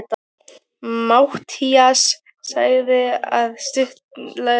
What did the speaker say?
Matthías lagði á eftir stutta þögn.